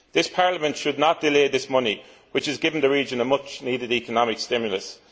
Parliament should not delay this money, which would give the region a much needed economic stimulus.